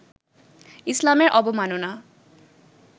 ইসলামের অবমাননা